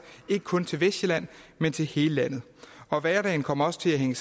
ikke kun til vestsjælland men til hele landet og hverdagen kommer også til at hænge